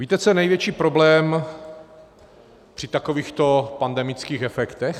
Víte, co je největší problém při takovýchto pandemických efektech?